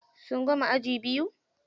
Sun gama aji biyu.